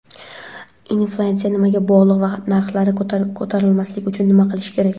Inflyatsiya nimaga bog‘liq va narxlar ko‘tarilmasligi uchun nima qilish kerak?.